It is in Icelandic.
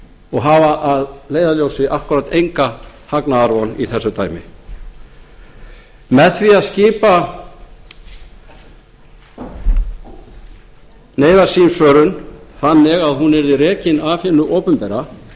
og hafa að leiðarljósi akkúrat enga hagnaðarvon í þessu dæmi með því að skipa neyðarsímsvörun þannig að hún yrði rekin af hinu opinbera